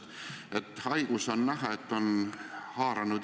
Me ei tea, mis järgmisel minutil võib juhtuda ja kas kooli sulgemine on proportsionaalne abinõu.